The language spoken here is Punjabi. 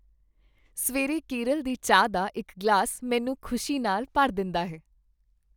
ਸਵੇਰੇ ਕੇਰਲ ਦੀ ਚਾਹ ਦਾ ਇੱਕ ਗਲਾਸ ਮੈਨੂੰ ਖ਼ੁਸ਼ੀ ਨਾਲ ਭਰ ਦਿੰਦਾ ਹੈ।